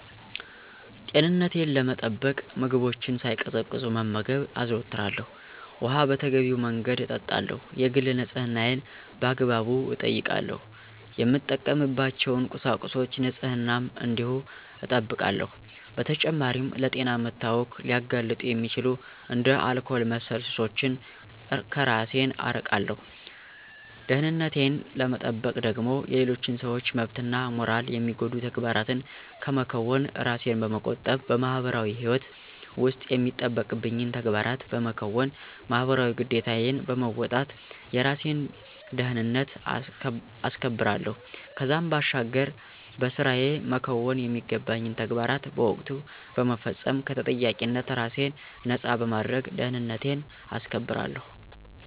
ጤንነቴን ለመጠበቅ ምግቦችን ሳይቀዘቅዙ መመገብ አዘወትራለሁ፣ ውኃ በተገቢው መንገድ እጠጣለሁ፣ የግል ንፅህናዬን በአግባቡ እጠብቃለሁ፣ የምጠቀምባቸውን ቁሳቁሶች ንፅህናም እንዲሁ እጠብቃለሁ። በተጨማሪም ለጤና መታወክ ሊያጋልጡ የሚችሉ እንደ አልኮል መሠል ሱሶችን ከራሴን አርቃለሁ። ደህንነቴን ለመጠበቅ ደግሞ የሌሎችን ሰዎች መብትና ሞራል የሚጎዱ ተግባራትን ከመከወን ራሴን በመቆጠብ በማህበራዊ ህይወት ውስጥ የሚጠበቅብኝን ተግባራት በመከወን ማህበራዊ ግዴታዬን በመወጣት የራሴን ደህንነት አስከብራለሁ። ከዛም ባሻገር በስራየ መከወን የሚገባኝን ተግባራት በወቅቱ በመፈፀም ከተጠያቂነት ራሴን ነፃ በማድረግ ደህንነቴን አስከብራለሁ።